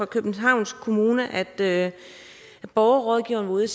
københavns kommune at borgerrådgiveren var ude